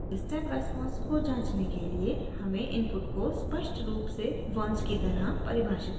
step response को जांचने के लिए हमें इनपुट को स्पष्ट रूप से ones की तरह परिभषित करना है